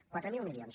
quatre mil milions